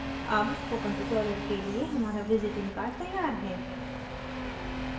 अब spoken tutorial के लिए हमारा visiting card तैयार है